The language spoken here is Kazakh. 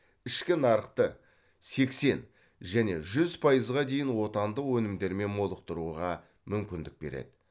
ішкі нарықты сексен және жүз пайызға дейін отандық өнімдермен молықтыруға мүмкіндік береді